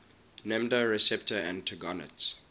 nmda receptor antagonists